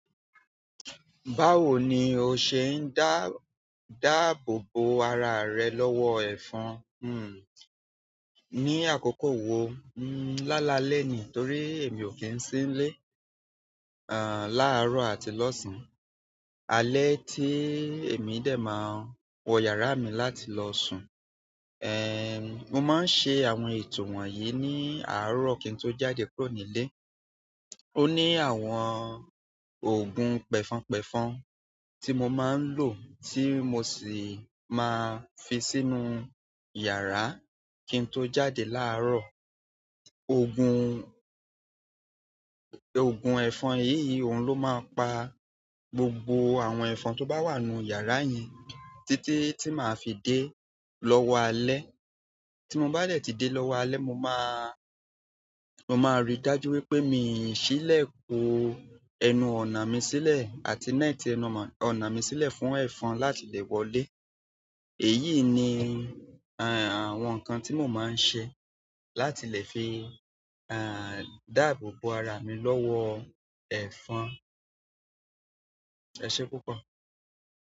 Báwo ni o ṣe ń dá dáàbòbò ara rẹ lọ́wọ́ ẹ̀fọ́n? Hmm. Ni àkókò wo? Lálalẹ́ ni torí emi o ki n si n le àn, láàárọ̀ àti lọ́san. Alẹ́ ti emi de maa n wo iyara mi láti lo sun. Ehn, mo máa ń ṣe àwọn ètò wọ̀nyii ní àárọ̀ kí n tó jáde kúrò nílé. Ó ní àwọn òògùn pẹfonpẹfọn tí mo máa ń lo tí mo sì máa fi sínú yàrá kí n tó jáde láàárọ̀. Òògùn, òògùn ẹ̀fọn yìí òun ló máa ń pa gbogbo àwọn ẹ̀fọn tó bá wà nínú yàrá yẹn títí tí màá fi dé lọ́wọ́ alẹ́. Tí mo bá dẹ̀ tí dé lọ́wọ́ alẹ́, mo máa, mo máa rí dájú wípé mi ò sílẹ̀kun ẹnu ọ̀nà mi sílẹ̀ àti netí ẹnu ọ̀nà mi sílẹ̀ fún ẹ̀fọ́n láti lè wọlé. Èyí ni, ehn, àwọn nǹkan tí mo máa ń ṣe láti lè fi, ehn, dáàbòbò ara mi lọ́wọ́ ẹ̀fọ́n. Ẹsẹ púpọ̀.